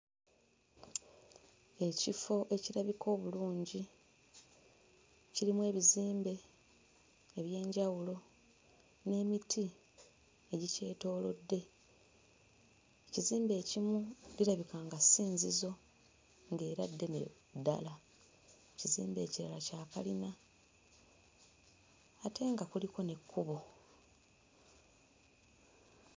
Ekifo ekirabika obulungi kirimu ebizimbe eby'enjawulo n'emiti egikyetoolodde. Ekizimbe ekimu lirabika nga ssinzizo ng'era ddene ddala, ekizimbe ekirala kya kalina ate nga kuliko n'ekkubo.